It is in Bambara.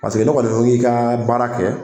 Paseke n'e kɔni ko i ka baara kɛ